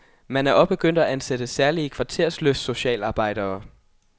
Man er også begyndt at ansætte særlige kvartersløftsocialarbejdere.